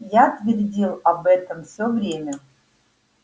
я твердил об этом все время